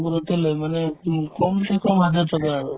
লই মানে উম কম বেছি কম হাজাৰ টকা আৰু